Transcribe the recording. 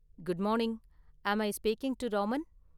Good morning, am I speaking to Raman?